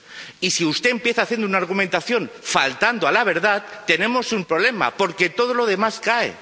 Y si usted empieza haciendo una argumentación faltando a la verdad, tenemos un problema, porque todo lo demás cae.